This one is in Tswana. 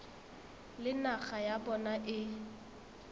le naga ya bona e